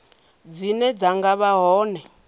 dzine dza nga vha hone